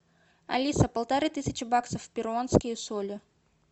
алиса полторы тысячи баксов в перуанские соли